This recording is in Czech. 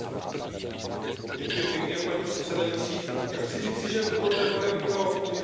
Paní předsedající, já chci říci, že toto téma je pro moji frakci mimořádně důležité.